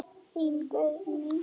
Þín Guðný.